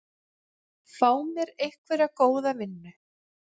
Fá mér einhverja góða vinnu.